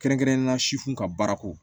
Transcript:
Kɛrɛnkɛrɛnnenyala sifinw ka baara ko